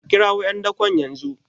a kirawo `yandakon yanzu?